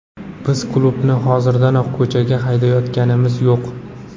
Biz klubni hozirdanoq ko‘chaga haydayotganimiz yo‘q.